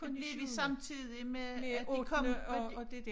Det blev vi samtidig med at de kom med